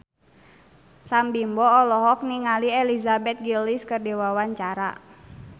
Sam Bimbo olohok ningali Elizabeth Gillies keur diwawancara